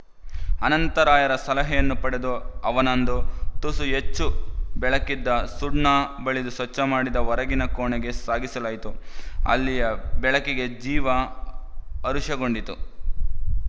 ಅನಂತರಾಯರ ಸಲಹೆಯನ್ನು ಪಡೆದು ಅವನನ್ನಂದು ತುಸು ಹೆಚ್ಚು ಬೆಳಕಿದ್ದ ಸುಣ್ಣ ಬಳಿದು ಸ್ವಚ್ಛಮಾಡಿದ ಹೊರಗಿನ ಕೋಣೆಗೆ ಸಾಗಿಸಲಾಯಿತು ಅಲ್ಲಿಯ ಬೆಳಕಿಗೆ ಜೀವ ಹರುಷಗೊಂಡಿತು